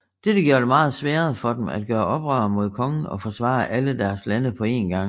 Dette gjorde det meget sværere for dem at gøre oprør mod kongen og forsvare alle deres lande på én gang